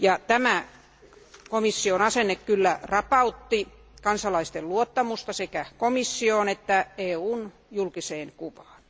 Tämä komission asenne rapautti kansalaisten luottamusta sekä komissioon että EUn julkiseen kuvaan.